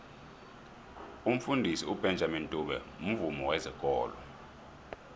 umfundisi ubenjamini dube mvumi wezekolo